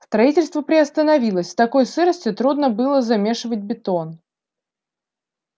строительство приостановилось в такой сырости трудно было замешивать бетон